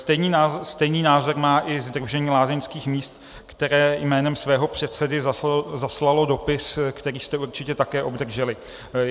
Stejný názor má i Sdružení lázeňských míst, které jménem svého předsedy zaslalo dopis, který jste určitě také obdrželi.